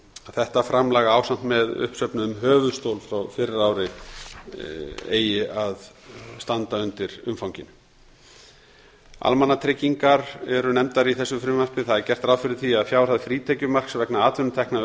þetta framlag ásamt með uppsöfnuðum höfuðstól frá fyrra ári eigi að standa undir umfanginu almannatryggingar eru nefndar í þessu frumvarpi það er gert ráð fyrir því að fjárhæð frítekjumarks vegna atvinnutekna